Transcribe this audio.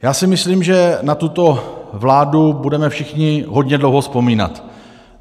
Já si myslím, že na tuto vládu budeme všichni hodně dlouho vzpomínat.